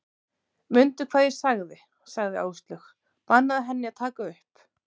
Mundu hvað ég sagði sagði Áslaug, bannaðu henni að taka upp